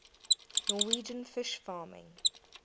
norwegian fish farming